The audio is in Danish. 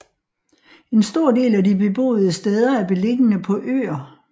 En stor del af de beboede steder er beliggende på øer